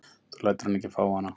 Þú lætur hann ekki fá hana!